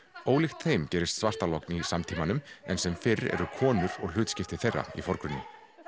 ólíkt þeim gerist í samtímanum en sem fyrr eru konur og hlutskipti þeirra í forgrunni